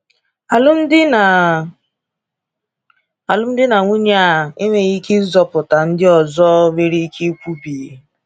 ‘Alụmdi na ‘Alụmdi na nwunye a enweghị ike ịzọpụta,’ ndị ọzọ nwere ike ikwubi.